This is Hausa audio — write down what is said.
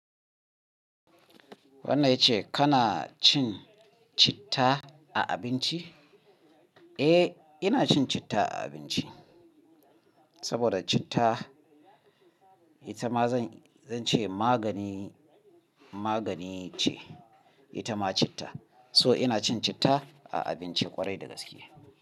Wannan yace kana cin citta a abinci? Eh, ina cin citta a abinci. Saboda citta, ita ma zan, zan ce magani, magani ce ita ma citta. So ina cin citta a abinci ƙwarai da gaske.